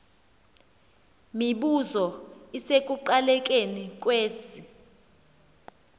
mibuzo isekuqalekeni kwesi